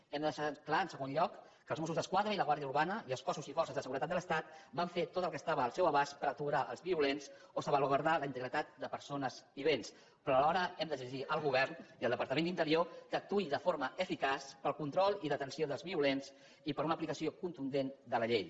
hem de deixar clar en segon lloc que els mossos d’esquadra i la guàrdia urbana i els cossos i forces de seguretat de l’estat van fer tot el que estava al seu abast per aturar els violents o salvaguardar la integritat de persones i béns però alhora hem d’exigir al govern i al departament d’interior que actuï de forma eficaç per al control i detenció dels violents i per una aplicació contundent de la llei